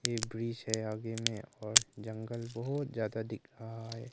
एक ब्रिज है आगे में और जंगल बहुत ज्यादा दिख रहा है।